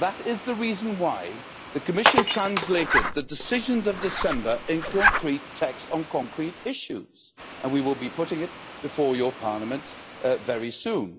That is the reason why the Commission translated the decisions from December into concrete text on concrete issues, and we will be putting it before your Parliament very soon.